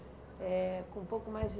Eh com um pouco mais de